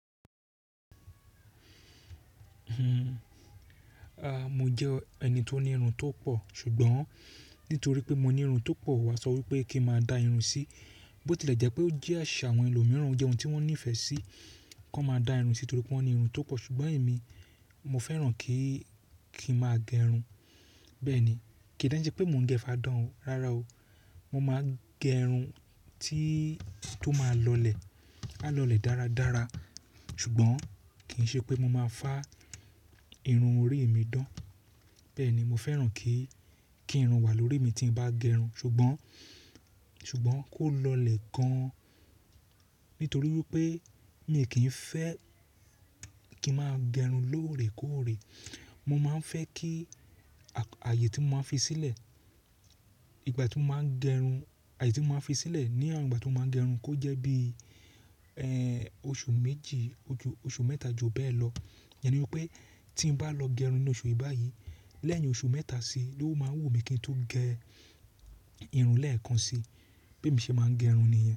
A, mo jẹ́ ẹni tó ní irun tó pọ̀, ṣùgbọ́n nítorí pé mo ní irun tó pọ̀, wọ́n á sọ wípé kí máa da irun sí. Bó tí lè jẹ́ pé ó jẹ́ àṣà àwọn ẹlòmíràn, ó jẹ́ ohun tí wọ́n nífẹ̀ẹ́ sí kí wọ́n máa da irun sí nítorí pé wọ́n ní irun tó pọ̀. Ṣùgbọ́n èmi, mo fẹ́ràn kí, kí n máa gẹ irun. Bẹ́ẹ̀ ni, kì í dánṣẹ́ pé mò ń gẹ fáadán o, rárá o. Mo máa gẹ irun tí, tó máa lọlẹ̀, má lọlẹ̀ dáradára. Ṣùgbọ́n kì í ṣe pé mo máa fá irun orí mi dán. Bẹ́ẹ̀ ni, mo fẹ́ràn kí, kí irun wà lórí mi tí n bá gẹ irun, ṣùgbọ́n, ṣùgbọ́n kó lọlẹ̀ gan-an. Nítorí wípé mi kì í fẹ́ kí n máa gẹ irun lóore kóóre. Mo máa ń fẹ́ kí àyè tí mo máa ń fi sílẹ̀ ní ìgbà tí mo máa ń gẹ irun, àyè tí mo máa ń fi sílẹ̀ ní ìgbà tí mo máa ń gẹ irun kó jẹ́ bí, ẹ́, oṣù méjì, oṣù mẹ́ta ju bẹ́ẹ̀ lọ. Ìyẹn ni wípé tí n bá lọ gẹ irun ní oṣù yìí báyìí, lẹ́yìn oṣù mẹ́ta sí i, ló máa wù mí kí n tó gẹ irun lẹ́ẹ̀kan sí i. Béè mi ṣe máa ń gẹ irun nìyẹn.